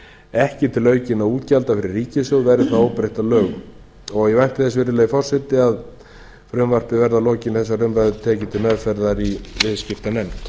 ekki til aukinna útgjalda fyrir ríkissjóð verði það óbreytt að lögum virðulegi forseti ég vænti þess að frumvarpið verði að lokinni þessari umræðu tekið til meðferðar í viðskiptanefnd